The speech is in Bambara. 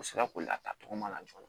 U sera k'o latatogoma laja